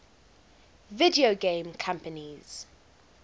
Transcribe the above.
video game companies